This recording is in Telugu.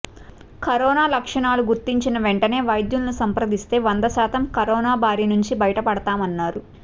కరోనా లక్షణాలు గుర్తించిన వెంటనే వైద్యులను సంప్రదిస్తే వంద శాతం కరోనా బారి నుంచి బయట పడతామన్నారు